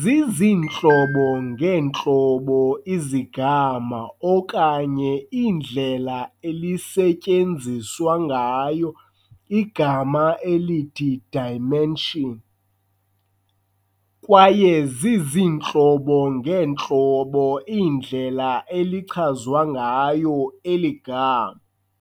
Ziziintlobo ngeentlobo izigama okanye iindlela elisetyenziswa ngayo igama elithi dimension, kwaye ziziintlobo-ngeentlobo iindlela elichazwa ngayo eli gama.